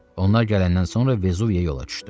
Onlar gələndən sonra Vezuviyə yola düşdü.